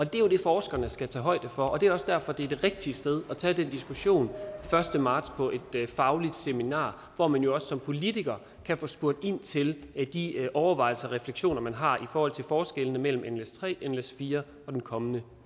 det er jo det forskerne skal tage højde for og det er også derfor det er det rigtige sted at tage den diskussion den første marts på et fagligt seminar hvor man jo også som politiker kan få spurgt ind til de overvejelser og refleksioner man har i forhold til forskellene mellem nles3 nles4 og den kommende